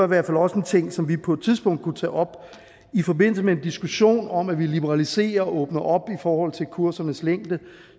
hvert fald også en ting som vi på et tidspunkt kunne tage op i forbindelse med en diskussion om at vi liberaliserer og åbner op i forhold til kursernes længde